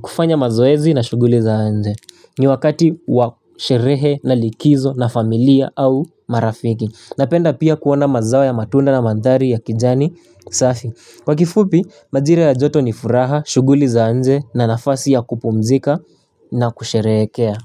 kufanya mazoezi na shughuli za nje. Ni wakati wa sherehe na likizo na familia au marafiki. Napenda pia kuona mazao ya matunda na mandhari ya kijani, safi. Kwa kifupi, majira ya joto ni furaha, shughuli za nje na nafasi ya kupumzika na kusherehekea.